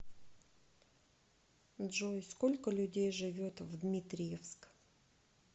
джой сколько людей живет в дмитриевск